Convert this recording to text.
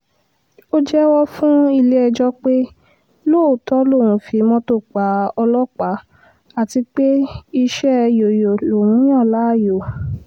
ó jẹ́wọ́ fún ilé-ẹjọ́ pé lóòótọ́ lòún fi mọ́tò pa ọlọ́pàá àti pé iṣẹ́ yọ̀yọ̀ lòún yàn láàyò